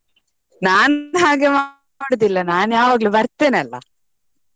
ನಾನ್ ಹಾಗೆ ಮಾಡುದಿಲ್ಲ ನಾನ್ ಯಾವಾಗ್ಲೂ ಬರ್ತೇನೆ ಅಲ್ಲ.